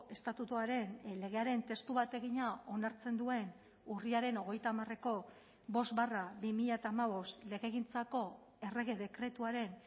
estatutuaren legearen testu bategina onartzen duen urriaren hogeita hamareko bost barra bi mila hamabost legegintzako errege dekretuaren